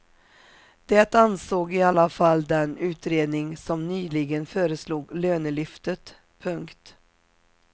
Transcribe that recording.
Det ansåg i alla fall den utredning som nyligen föreslog lönelyftet. punkt